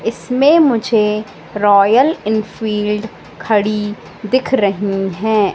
इसमें मुझे Royal Enfield खड़ी दिख रही हैं।